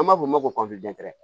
An b'a fɔ o ma ko